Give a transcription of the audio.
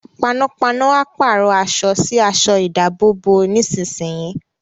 Panápaná a pàrọ̀ aṣọ sí aṣọ ìdábòbò nísinsìnyí